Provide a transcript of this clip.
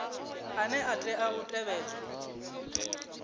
ane a tea u tevhedzwa